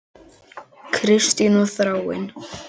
Kristín og Þráinn.